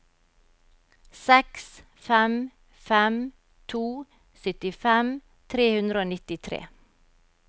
seks fem fem to syttifem tre hundre og nittitre